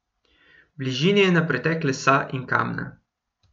V bližini je na pretek lesa in kamna.